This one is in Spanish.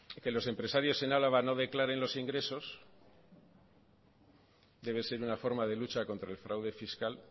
que los empresarios en álava no declaren los ingresos debe ser una forma de lucha contra el fraude fiscal